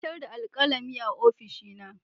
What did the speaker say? Na batar da alkalami a ofishina.